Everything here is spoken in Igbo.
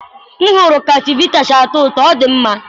m hụrụ ka chivita si atọ ụtọ, ọ dị mma.